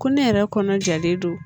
Ko ne yɛrɛ kɔnɔ jalen don